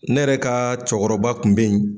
Ne yɛrɛ ka cɔkɔrɔba kun bɛ ye